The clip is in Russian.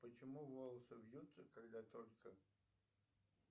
почему волосы вьются когда только